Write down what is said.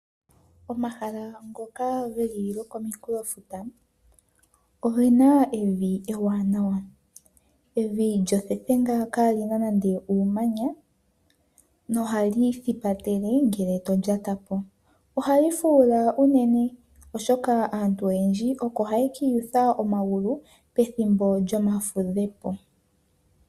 Omahala ngoka ge li kominkulofuta oge na evi ewaanawa ndono lya thethenga kaali na nande uumanya na ohali thipatele ngele omuntu to lyata ko. Ohali fuula unene naantu oyendji oko ha ye kiiyutha omagulu pethimbo lyoomafudhepo.